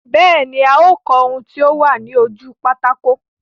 Bẹ́ẹ̀ ní, a ó kọ ohun tí ó wà ní ojú pátákó.